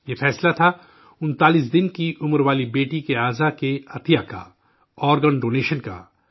یہ فیصلہ تھا انتالیس 39 دن کی عمر والی بیٹی کے آرگن ڈونیشن کا، جسم کے عضو کے عطیہ کا